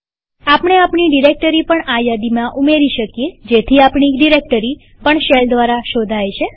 આપણે આપણી ડિરેક્ટરી પણ આ યાદીમાં ઉમેરી શકીએ જેથી આપણી ડિરેક્ટરી પણ શેલ દ્વારા શોધાય છે